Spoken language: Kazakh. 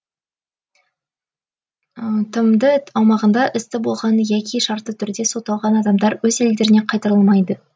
тмд аумағында істі болған яки шартты түрде сотталған адамдар өз елдеріне қайтарылмайды